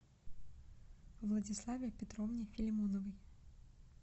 владиславе петровне филимоновой